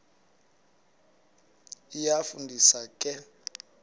iyafu ndisa ke